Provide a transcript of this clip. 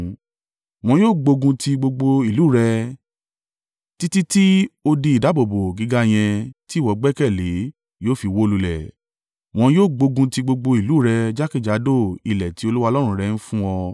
Wọn yóò gbógun ti gbogbo ìlú rẹ títí tí odi ìdáàbòbò gíga yẹn tí ìwọ gbẹ́kẹ̀lé yóò fi wó lulẹ̀. Wọn yóò gbógun ti gbogbo ìlú rẹ jákèjádò ilẹ̀ tí Olúwa Ọlọ́run rẹ ń fún ọ.